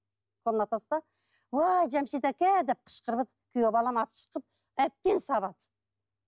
уа жамшит әка деп қышқырып күйеу балам атып шықты әбден сабады